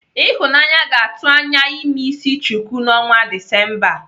Ịhụnanya ga-atụ anya ime isi chuku n'ọnwa Disemba a.